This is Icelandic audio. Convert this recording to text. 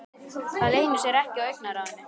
Það leynir sér ekki á augnaráðinu.